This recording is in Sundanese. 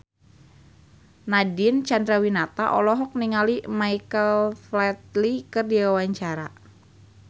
Nadine Chandrawinata olohok ningali Michael Flatley keur diwawancara